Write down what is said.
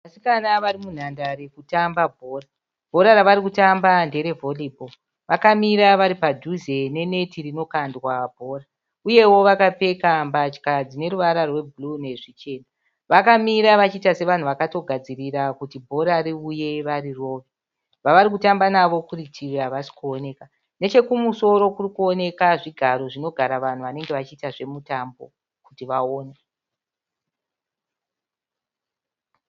Vasikana vari munhandare kutamba bhora. Bhora ravari kutamba ndere Valley ball. Vakamira varipadhuze ne neti rinokandwa bhora, uyewo vakapfeka mbatya dzine ruvara rwe bhuruu nezvichena. Vakamira vachiita sevanhu vakatogadzirira kuti bhora riuye vari rove. Vavari kutamba navo kurutivi havasi kuoneka. Nechekumusoro kurikuoneka zvigaro zvinogara vanhu vanenge vachiita zvemutambo kuti vaone.